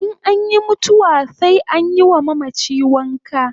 In anyi mutuwa sai anyi wa mamachi wanka